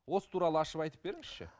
осы туралы ашып айтып беріңізші